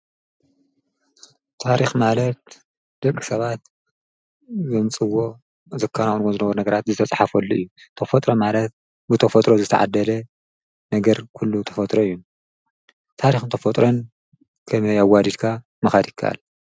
ታሪክ ማለት ደቂሰባት ዘምፅእዎ ዝከናከንዎ ዝነበሩ ነገራት ዝተፅሓፈሉ እዩ ተፈጥሮ በተፈጥሮ ዝተዓደለ ነገር ኩሉ ተፈጥሮ እዪታሪክን ተፈጥሮን ከመይ ምክያድ ይከአል ?